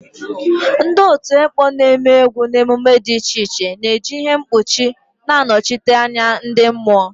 Ndị otu ekpo na-eme egwu na emume dị iche iche na-eji ihe mkpuchi na-anọchite anya ndị mmụọ.